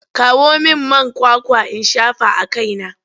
Kawo min man kwakwa in shafa a kaina!